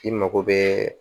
I mago bɛɛ